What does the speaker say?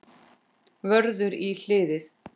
Vörður í hliðið.